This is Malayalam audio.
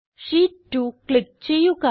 ഷീറ്റ്2 ക്ലിക്ക് ചെയ്യുക